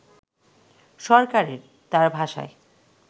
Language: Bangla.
সরকারের, তার ভাষায়